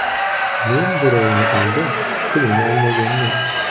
Men birovni aldab, pulini olmaganman.